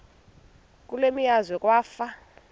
kule meazwe kwafa